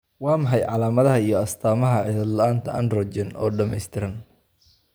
Waa maxay calaamadaha iyo astaamaha cillad la'aanta Androgen oo dhameystiran?